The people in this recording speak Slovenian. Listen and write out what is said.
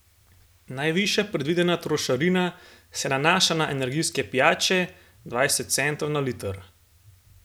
Najvišja predvidena trošarina se nanaša na energijske pijače, dvajset centov na liter.